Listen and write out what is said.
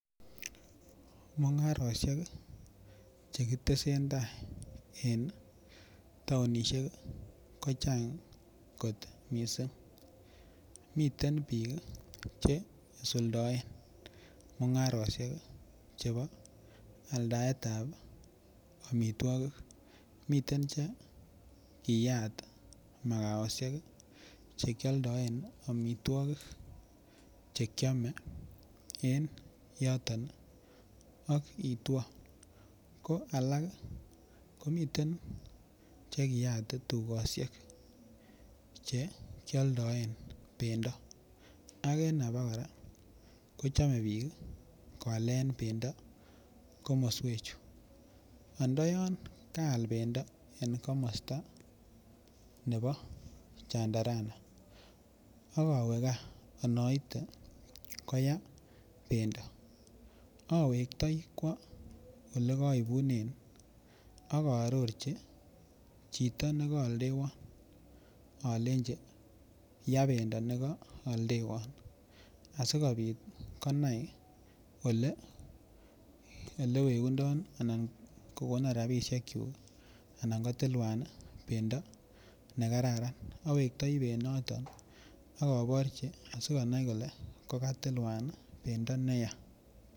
Mungarosiek Che ki tesentai en taonisiek ko chang kot mising miten bik Che isuldoen mungarosiek Chebo aldaet ab amitwogik miten Che kiyat makosaisiek Che kialdaen amitwogik Che kiame ak itwo ko alak komiten Che kiyat tugosiek Che kialdaen bendo ak en abakora kochome bik koalen bendo komoswechu anda yon kaal bendo komosta nebo chandarana ak awe gaa anaite koyaa bendo awektoi kwo Ole kaipunen ak aarorchi chito ne kaaldewon alenji yaa bendo nekooldewon asikobit konai Ole wegundon rabisiek kyuk anan kotilwan bendo nekararan awektoi benyoto ak aborchi asikonai kole kokatilwan bendo neya